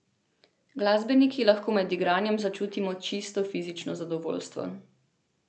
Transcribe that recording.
Glasbeniki lahko med igranjem začutimo čisto fizično zadovoljstvo.